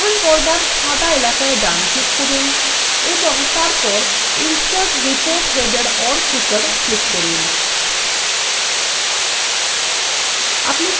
প্রধান পর্দার সাদা এলাকায় ডান ক্লিক করুন এবং তারপর insert report header/footer ক্লিক করুন